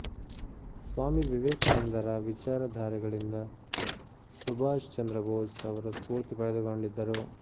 ಸ್ವಾಮಿ ವಿವೇಕಾನಂದರ ವಿಚಾರ ಧಾರೆಗಳಿಂದ ಸುಭ್ಹಾಷ್ ಚಂದ್ರ ಭೋಸ್ ಅವರು ಸ್ಫೂರ್ತಿ ಪಡೆದುಕೊಂಡಿದ್ದರು